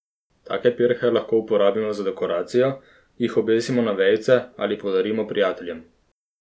Take pirhe lahko uporabimo za dekoracijo, jih obesimo na vejice ali podarimo prijateljem.